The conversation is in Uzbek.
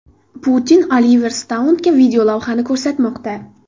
Putin Oliver Stounga videolavhani ko‘rsatmoqda.